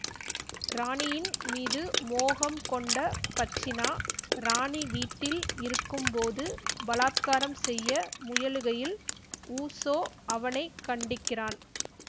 ராணியின் மீது மோகம் கொண்ட பச்சினா ராணி வீட்டில் இருக்கும் போது பலாத்காரம் செய்ய முயலுகையில் ஊசோ அவனை கண்டிக்கிறான்